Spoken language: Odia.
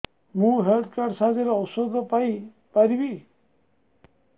ମୁଁ ହେଲ୍ଥ କାର୍ଡ ସାହାଯ୍ୟରେ ଔଷଧ ପାଇ ପାରିବି